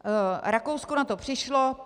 Rakousko na to přišlo.